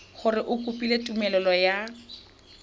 gore o kopile tumelelo ya